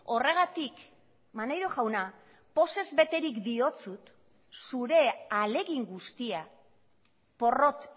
horregatik maneiro jauna pozez beterik diotsut zure ahalegin guztia porrot